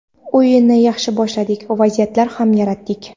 O‘yinni yaxshi boshladik, vaziyatlar ham yaratdik.